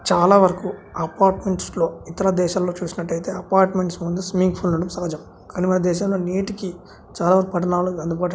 చాల వరకు అపార్ట్మెంట్స్ లో ఇతర దేశాల్లో చూసినట్టయితే అపార్ట్మెంట్స్ ముందు స్విమ్మింగ్ పూల్ ఉండటం సహజం. కాని మన దేశంలో నేటికి చాలా పట్టణాల్లోకి అందుబాటులో--